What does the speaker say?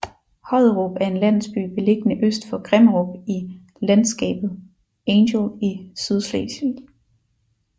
Hodderup er en landsby beliggende øst for Grimmerup i landskabet Angel i Sydslesvig